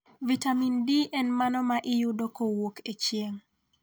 Vitamin D en mano ma iyudo kowuok e chieng'.